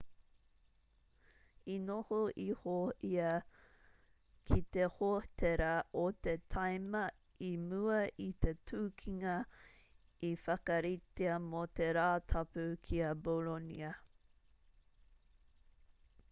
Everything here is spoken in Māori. i noho iho ia ki te hōtera o te tīma i mua i te tukinga i whakaritea mō te rātapu ki a bolonia